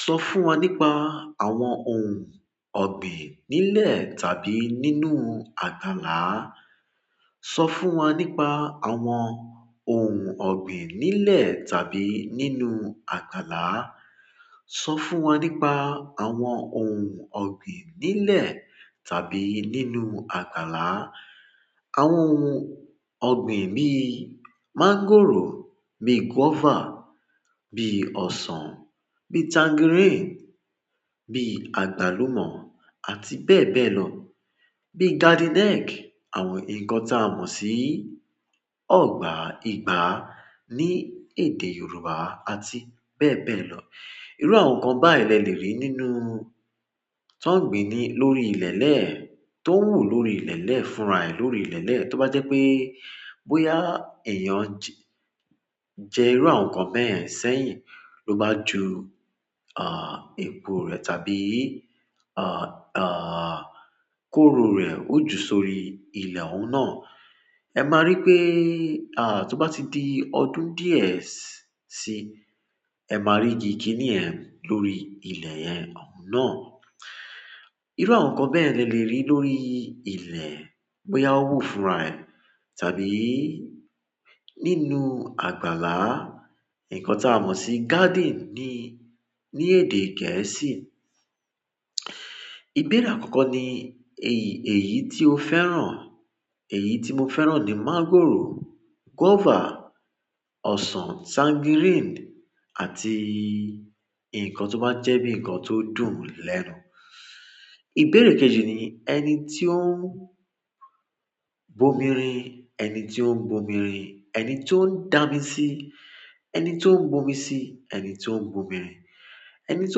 Sọ fún wa nípa àwọn ohun ọ̀gbìn nílẹ̀ tàbí nínú àgbàlá. Sọ fún wa nípa àwọn ohun ọ̀gbìn nílẹ̀ tàbí nínú àgbàlá. Sọ fún wa nípa àwọn ohun ọ̀gbìn nílẹ̀ tàbí nínú àgbàlá. Àwọn ohun ọ̀gbìn bíi máńgòrò, bíi guava, bíi ọsàn, bíi tangerine, bíi àgbálùmọ́ àti bẹ́ẹ̀ bẹ́ẹ̀ lọ. Bíi garden egg, àwọn nǹkan tí a mọ̀ sí ọ̀gbà ìgbá ní èdè Yorùbá àti bẹ́ẹ̀ bẹ́ẹ̀ lọ. Irú àwọn nǹkan báyìí lẹ lè rí nínú tọ́ ń gbìn-ín ní lórí ilẹ̀ lẹ̀ẹ́, tó ń wù lórí ilẹ̀ lẹ̀ẹ́, fúnra rẹ̀ lórí ilẹ̀ lẹ̀ẹ́. Tó bá jẹ́ pé bóyá èèyàn jẹ, jẹ irú àwọn nǹkan bẹ́yen sẹ́yìn ló bá ju, àh, epo rẹ̀ tàbí, àh, àh, kóró rẹ̀ ó ju sórí ilẹ̀ òun náà, ẹ máa rí pé, àh, tó bá ti di ọdún díẹ̀ sí i, ẹ máa rí igi kíní yẹn lórí ilẹ̀ yẹn, òún náà. Irú àwọn nǹkan bẹ́yen ni ẹ lè rí lórí ilẹ̀ bóyá ó wù fúnra rẹ̀ tàbí nínú àgbàlá, nǹkan tí a mọ̀ sí garden ní, ní èdè. Gẹ̀ẹ́sì. Ìbéèrè àkọ́kọ́ ni èyí, èyí tí o fẹ́ràn. Èyí tí mo fẹ́ràn ni máńgòrò, guava, ọsàn, tangiríìnì àti nǹkan tó bá jẹ́ bíi nǹkan tó dùn lẹ́nu. Ìbéèrè kejì ni ẹni tí ó ń bomirin. Ẹni tí ó ń bomirin, ẹni tí ó ń dá mi sí, ẹni tí ó ń bomi sí, ẹni tí ó ń bomirin. Ẹni tí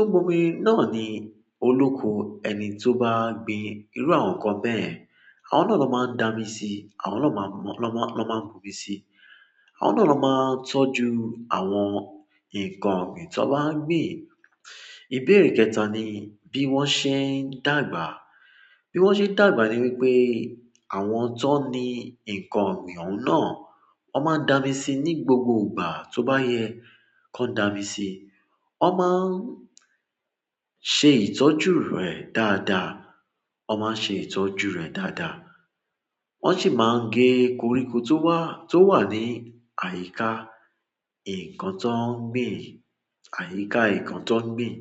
ó ń bomirin náà ni olóko ẹni tó bá gbin irú àwọn nǹkan bẹ́yen. Àwọn náà ló máa ń dá mi sí, àwọn náà ló má, ló má, ló máa ń bomi sí. Àwọn náà ló máa tọ́jú àwọn nǹkan ọ̀gbìn tí wọ́n bá gbin. Ìbéèrè kẹ́ta ni bí wọ́n ṣe ń dàgbà. Bí wọ́n ṣe n dàgbà ni pé àwọn tí wọ́n ni nǹkan ọ̀gbìn òhun náà, wọ́n máa n damisi ní gbogbo ìgbà tó bá yẹ kí wọ́n ó dami síi wọ́n máa ń ṣe ìtọ́jú rẹ̀ dáadáa. Wọ́n máa n ṣe ìtọ́jú rẹ̀ dáadáa. Wọ́n sì máa ń gé koríko tó wá, tó wà ní àyíká nǹkan tí wọ́n gbìn, àyíká nǹkan tí wọ́n gbin.